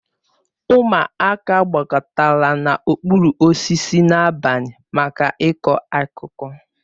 Ụmụaka gbakọtara n'okpuru osisi n'abalị maka ịkọ akụkọ